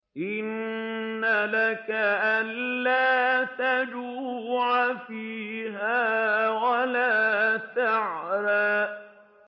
إِنَّ لَكَ أَلَّا تَجُوعَ فِيهَا وَلَا تَعْرَىٰ